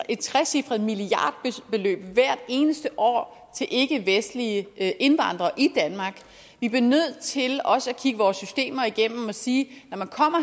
et trecifret milliardbeløb hvert eneste år til ikkevestlige indvandrere i danmark vi bliver nødt til også at kigge vores systemer igennem og sige når man kommer